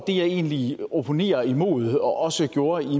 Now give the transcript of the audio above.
egentlig opponerer imod hvad jeg også gjorde i